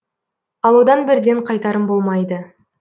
ал одан бірден қайтарым болмайды